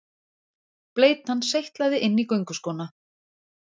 Bleytan seytlaði inn í gönguskóna.